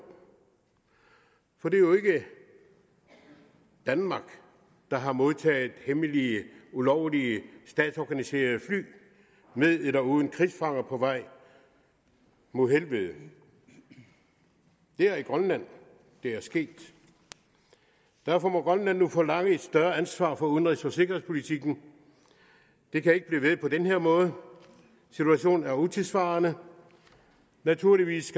for det er jo ikke danmark der har modtaget hemmelige ulovlige statsorganiserede fly med eller uden krigsfanger på vej mod helvede det er i grønland det er sket derfor må grønland nu forlange et større ansvar for udenrigs og sikkerhedspolitikken det kan ikke blive ved på den her måde situationen er utidssvarende naturligvis